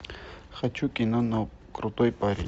хочу кино крутой парень